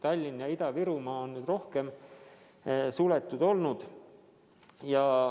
Tallinn ja Ida-Virumaa on rohkem suletud olnud.